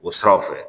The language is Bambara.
O siraw fɛ